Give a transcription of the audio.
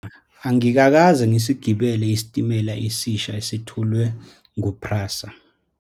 Angikakaze ngisigibele isitimela esisha esithulwe ngu-PRASA.